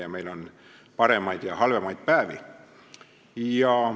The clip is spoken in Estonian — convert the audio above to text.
Ja meil on paremaid ja halvemaid päevi.